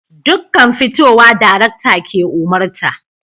Dukkan fitowa darakta ke umarta